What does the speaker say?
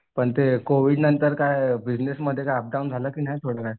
पण ते कोविडनंतर काय बिजनेसमध्ये काय अपडाऊन झालं की नाही थोडंफार?